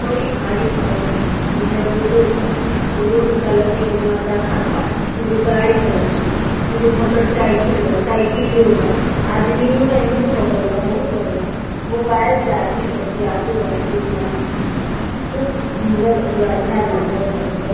बड़ी भारी घर बा एमे रोडो बा उ रोड के अलग एगो मर्दाना बा दुगो गाड़ी बाड़ी सन दुगो मोटर साइकिल बा साइकिलो बा आदमियों एन्हियो बगल बा ओहु बगल बा मोबाइल से आदमी बतियातो बा एगो मर्दाना खूब सुंदर उ अच्छा लगाता उ --